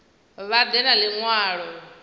vha ḓe na ḽi ṅwalo